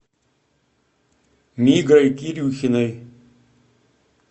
мигрой кирюхиной